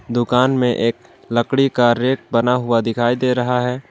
दुकान में एक लकड़ी का रेक बना हुआ दिखाई दे रहा है।